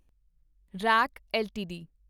rack LTD